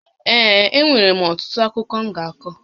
Ee, e nwèrè m ọtụtụ akụkọ m ga-akọ